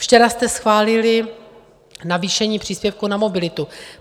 Včera jste schválili navýšení příspěvku na mobilitu.